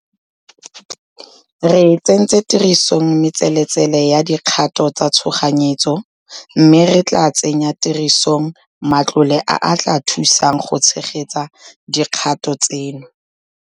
Re tsentse tirisong metseletsele ya dikgato tsa tshoganyetso, mme re tla tsenya tirisong matlole a a tla thusang go tshegetsa dikgato tseno.